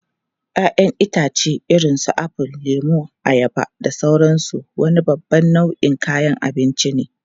Ya'yan itãcen irin su apple, lemu, ayaba, da sauransu wani babban nau'in kayan abinci ne.